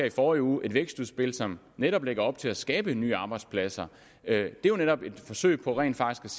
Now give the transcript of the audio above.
i forrige uge et vækstudspil som netop lægger op til at skabe nye arbejdspladser det er netop et forsøg på rent faktisk